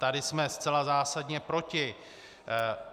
Tady jsme zcela zásadně proti.